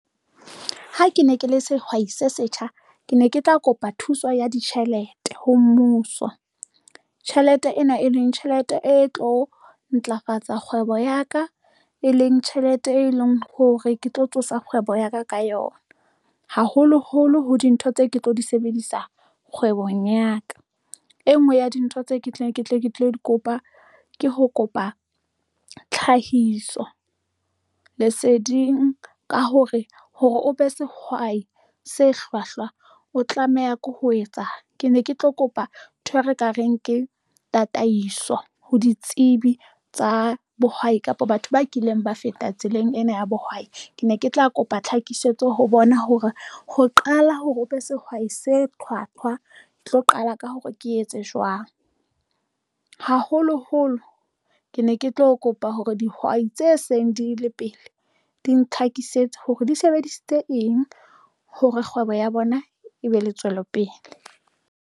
Ha ke ne ke le sehwai se setjha, ke ne ke tla kopa thuso ya ditjhelete ho mmuso. Tjhelete ena, e leng tjhelete e tlo ntlafatsa kgwebo ya ka, e leng tjhelete, e leng hore ke tlo tsosa kgwebo ya ka ka yona. Haholoholo ho dintho tseo, ke tlo di sebedisa kgwebong ya ka. E nngwe ya dintho tseo, ke tle ke tlo kopa ke ho kopa tlhahiso leseding ka hore hore o be sehwai se hlwahlwa, o tlameha ke ho etsa, ke ne ke tlo kopa nthwe ekareng ke tataiso ho ditsebi tsa bohwai kapa batho ba kileng ba feta tseleng ena ya bohwai. Ke ne ke tla kopa tlhakisetso ho bona hore ho qala hore o be sehwai , ke tlo qala ka hore ke etse jwang haholoholo ke ne ke tlo kopa hore dihwai tse seng di le pele di ntlhakisetsa hore di sebedisitse eng hore kgwebo ya bona e be le tswelopele.